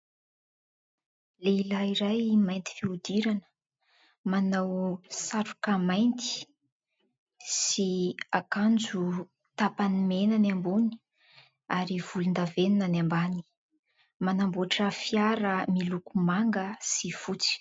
Lehilahy iray mainty fihodirana, manao satroka mainty sy akanjo tapany mena ny ambony ary volondavenona ny ambany. Manamboatra fiara miloko manga sy fotsy.